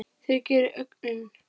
Það gerir ögunin.